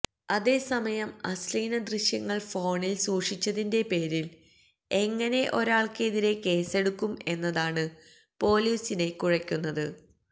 അതേസമയം അശ്ലീല ദൃശ്യങ്ങള് ഫോണില് സൂക്ഷിച്ചതിന്റെ പേരില് എങ്ങനെ ഒരാള്ക്കെതിരെ കേസെടുക്കും എന്നതാണ് പൊലീസിനെ കുഴക്കുന്നത്